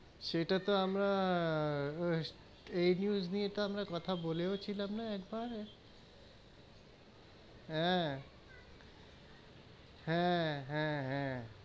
সেটা তো আমরা, এই news নিয়ে তো আমরা কথা বলেও ছিলাম না একবার হেঁ হেঁ, হেঁ, হেঁ,